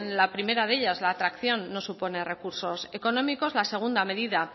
la primera de ellas la atracción no supone recursos económicos a la segunda medida